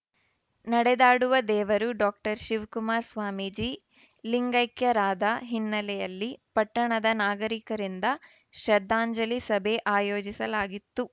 ನಡೆದಾಡುವ ದೇವರು ಡಾಕ್ಟರ್ ಶಿವಕುಮಾರ ಸ್ವಾಮೀಜಿ ಲಿಂಗೈಕ್ಯರಾದ ಹಿನ್ನೆಲೆಯಲ್ಲಿ ಪಟ್ಟಣದ ನಾಗರಿಕರಿಂದ ಶ್ರದ್ಧಾಂಜಲಿ ಸಭೆ ಆಯೋಜಿಸಲಾಗಿತ್ತು